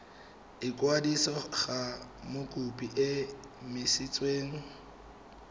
ikwadisa ga mokopi e emisitswe